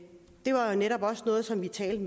var netop også noget som vi talte